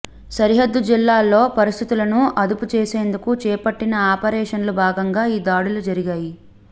సరిహద్దు జిల్లాల్లో పరిస్థితులను అదుపు చేసేందుకు చేపట్టిన ఆపరేషన్లో భాగంగా ఈ దాడులు జరిగాయి